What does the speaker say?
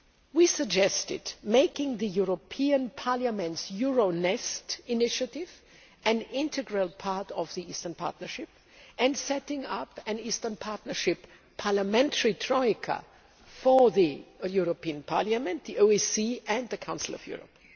We suggested making the European Parliament's Euronest initiative an integral part of the Eastern Partnership and setting up an Eastern Partnership parliamentary troika for the European Parliament, the OSCE and the Council of Europe.